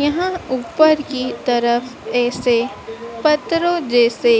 यहां ऊपर की तरफ ऐसे पत्रों जैसे